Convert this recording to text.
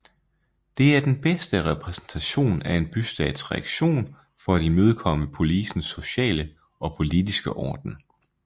Det er den bedste repræsentation af en bystats reaktion for at imødekomme polisens sociale og politiske orden